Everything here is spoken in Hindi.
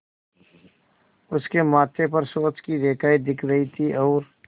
उसके माथे पर सोच की रेखाएँ दिख रही थीं और